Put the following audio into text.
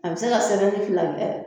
A bɛ se ka sɛmɛni fila kɛ.